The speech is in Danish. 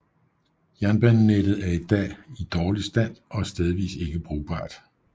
Jernbanenettet er i dag i dårlig stand og stedvis ikke brugbar